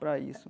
Para isso.